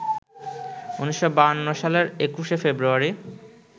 ১৯৫২ সালের একুশে ফেব্রুয়ারি